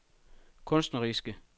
kunstneriske